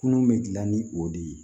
Kunun be dilan ni o de ye